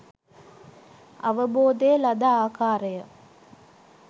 අවබෝධය ලද ආකාරය